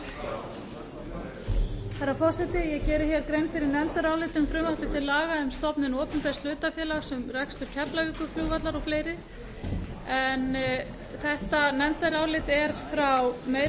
forseti ég geri grein fyrir nefndaráliti um frumvarp til laga um stofnun opinbers hlutafélags um rekstur keflavíkurflugvallar og fleira en þetta nefndarálit er frá meiri